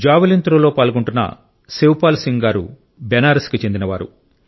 javelin త్రోలో పాల్గొంటున్న శివపాల్ సింగ్ గారు బనారస్ కు చెందినవారు